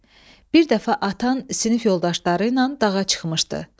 Bir dəfə atan sinif yoldaşları ilə dağa çıxmışdı.